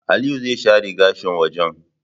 Aliyu zai share gashin wajan